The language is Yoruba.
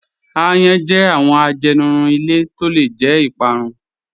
Àyàn jẹ́ awọn àjẹnìrún ilẹ̀ tó lẹ̀ jẹ́ ìpárún.